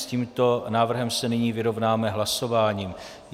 S tímto návrhem se nyní vyrovnáme hlasováním.